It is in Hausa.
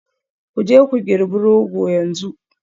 Ku je ku girbi Rogo yanzu